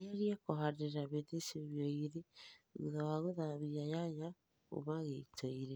anjĩrĩrĩa kũhandĩrĩra mĩtĩ cĩũmĩa ĩgĩrĩ thũtha wa gũthamĩa nyanya kũma gĩĩto ĩnĩ